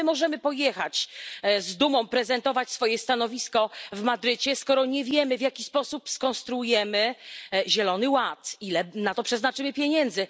Jak my możemy pojechać, z dumą prezentować swoje stanowisko w Madrycie, skoro nie wiemy, w jaki sposób skonstruujemy zielony ład. Ile na to przeznaczymy pieniędzy?